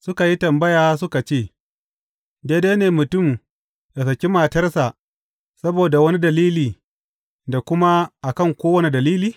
Suka yi tambaya suka ce, Daidai ne mutum yă saki matarsa saboda wani dalili da kuma a kan kowane dalili?